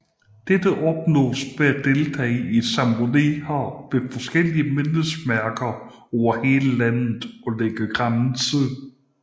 Dette opnås ved at deltage i ceremonier ved forskellige mindesmærker over hele landet og lægge kranse